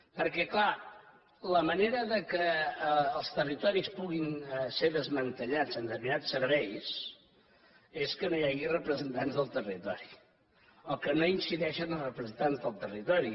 perquè clar la manera que els territoris puguin ser desmantellats en determinats serveis és que no hi hagi representants del territori o que no incideixen els representants del territori